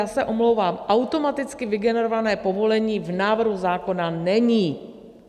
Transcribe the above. Já se omlouvám, automaticky vygenerované povolení v návrhu zákona není!